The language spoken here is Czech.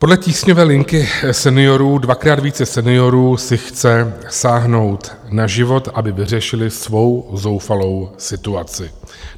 Podle tísňové linky seniorů dvakrát více seniorů si chce sáhnout na život, aby vyřešili svou zoufalou situaci.